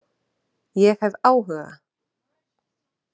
Ég hef áhuga,